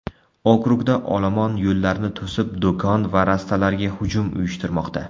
Okrugda olomon yo‘llarni to‘sib, do‘kon va rastalarga hujum uyushtirmoqda.